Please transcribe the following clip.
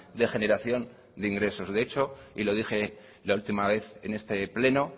de generación de ingresos de hecho y lo dije la última vez en este pleno